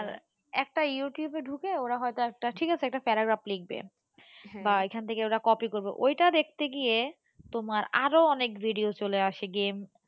একটা ইউটিউবে ঢুকে ওরা হয়তো একটা ঠিক আছে একটা paragraph লিখবে বা ওইখান থেকে copy করবে ঐটা দেখতে গিয়ে তোমার আরও অনেক video চলে আসে game,